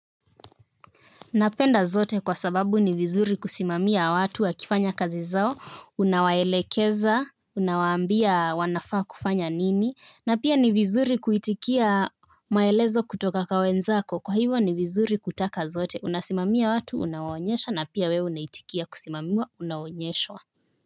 Napenda zote kwa sababu ni vizuri kusimamia watu wa kifanya kazi zao, unawaelekeza, unawaambia wanafaa kufanya nini, na pia ni vizuri kuitikia maelezo kutoka kwa wenzako, kwa hivyo ni vizuri kutaka zote, unasimamia watu, unawaonyesha, na pia wewe unaitikia kusimamiwa, unaonyeshwa.